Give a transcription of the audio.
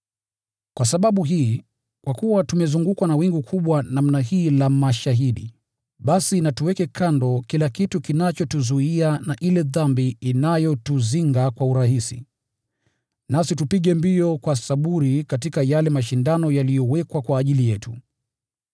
Kwa sababu hii, kwa kuwa tumezungukwa na wingu kubwa namna hii la mashahidi, basi na tuweke kando kila kitu kinachotuzuia na ile dhambi inayotuzinga kwa urahisi, nasi tupige mbio kwa saburi katika yale mashindano yaliyowekwa kwa ajili yetu.